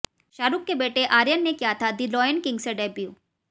शाहरुख के बेटे आर्यन ने किया था दी लॉयन किंग से डेब्यू